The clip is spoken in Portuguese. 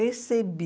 Recebi.